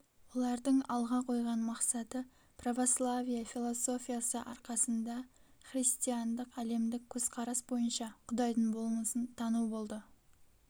олардың алға койған мақсаты православие философиясы арқасында христиандық әлемдік көзқарас бойынша құдайдың болмысын тану болды